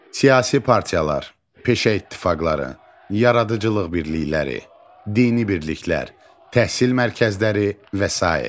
Siyasi partiyalar, peşə ittifaqları, yaradıcılıq birlikləri, dini birliklər, təhsil mərkəzləri və sair.